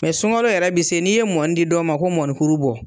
sunalo yɛrɛ bi se n'i ye mɔni di dɔw ma ko mɔnikuru bɔ